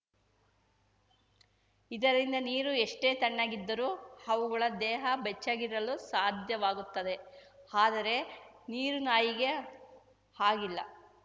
ಇದರಿಂದ ನೀರು ಎಷ್ಟೇ ತಣ್ಣಗಿದ್ದರೂ ಅವುಗಳ ದೇಹ ಬೆಚ್ಚಗಿರಲು ಸಾಧ್ಯವಾಗುತ್ತದೆ ಆದರೆ ನೀರುನಾಯಿಗೆ ಹಾಗಿಲ್ಲ